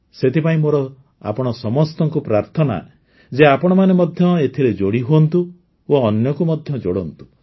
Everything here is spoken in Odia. ସେଥିପାଇଁ ମୋର ଆପଣ ସମସ୍ତଙ୍କୁ ପ୍ରାର୍ଥନା ଯେ ଆପଣମାନେ ମଧ୍ୟ ଏଥିରେ ଯୋଡ଼ି ହୁଅନ୍ତୁ ଓ ଅନ୍ୟକୁ ମଧ୍ୟ ଯୋଡ଼ନ୍ତୁ